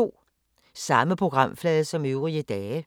Samme programflade som øvrige dage